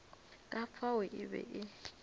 ka fao e be e